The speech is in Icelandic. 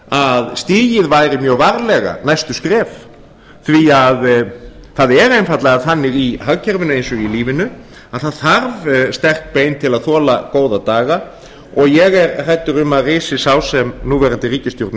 að stigin væri mjög varlega næstu skref því að það er einfaldlega þannig í hagkerfinu eins og í lífinu að það þarf sterk bein til að þola góða daga og ég er hræddur um að risi sá sem núverandi ríkisstjórn